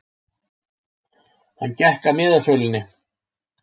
Hann gekk að miðasölunni.